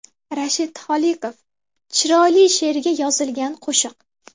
Rashid Xoliqov: Chiroyli she’rga yozilgan qo‘shiq.